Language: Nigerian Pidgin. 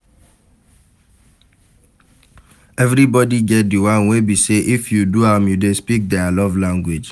Everybody get di one wey be say if you do am you de speak their love language